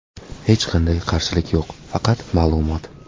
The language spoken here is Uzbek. Hech qanday qarshilik yo‘q, faqat ma’lumot.